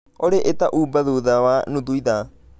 olly ĩta Uber thutha wa nũthũ ithaa